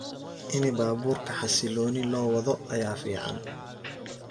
Ini baburka hasiloni lowado aya ficn.